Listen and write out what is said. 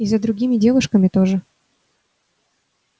и за другими девушками тоже